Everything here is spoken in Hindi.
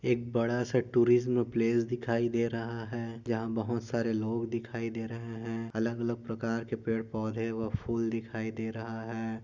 एक बडा सा टुरिज्म प्लेस दिखाई दे रहा है यहाँ बहूत सारे लोग दिखाई दे रहे है अलग अलग प्रकार के पेड पौधे व फुल दिखाई दे रहा है।